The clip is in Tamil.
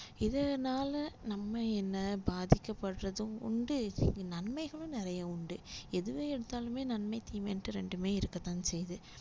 இதனால நம்ம என்ன பாதிக்கப்படுறதும் உண்டு நன்மைகளும் நிறைய உண்டு எதுவே எடுத்தாலுமே நன்மை தீமைன்னுட்டு ரெண்டுமே இருக்கத்தான் செய்யுது